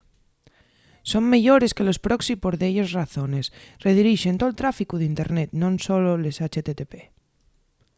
son meyores que los proxy por delles razones: redirixen tol tráficu d’internet non solo les http